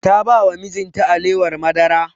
Ta ba wa mijin ta alewar madara